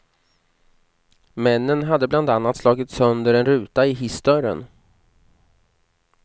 Männen hade bland annat slagit sönder en ruta i hissdörren.